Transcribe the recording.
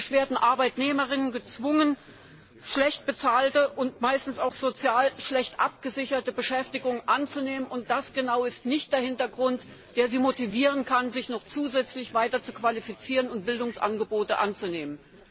Arbeitnehmerinnen und Arbeitnehmer werden praktisch gezwungen, schlecht bezahlte und meistens auch sozial schlecht abgesicherte Beschäftigungen anzunehmen. Das ist nicht der Hintergrund, der sie motivieren kann, sich noch zusätzlich weiter zu qualifizieren und Bildungsangebote anzunehmen.